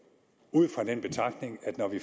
ud fra den betragtning at når vi